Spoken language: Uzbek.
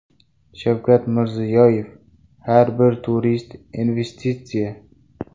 Shavkat Mirziyoyev: Har bir turist investitsiya .